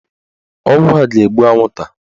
Ọgwụ a ga-egbu anwụnta